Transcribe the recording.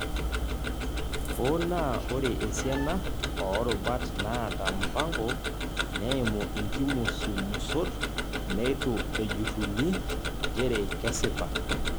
Hoo naa ore esiana oorubat naata mpango, neimu inkimusumusot neitu ejurruni nchere kesipa.